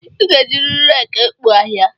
I ga-ejiriri reeki ekpo ahịhịa